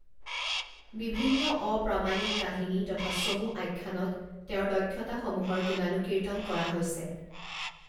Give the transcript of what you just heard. বিভিন্ন অপ্ৰামাণিক কাহিনী তথা চমু আখ্যানত তেওঁৰ দক্ষতাসমূহৰ গুণানুকীৰ্তন কৰা হৈছে।